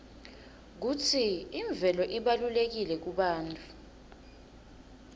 kutsi imvelo ibalulekile kubantfu